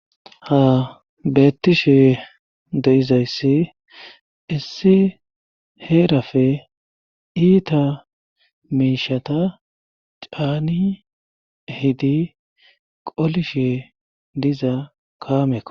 Ha beettishe deizayssi issi heerafe iita miishata caani hidi qolishe diza kaameko.